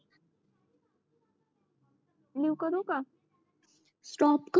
नवी करू का स्टॉप कर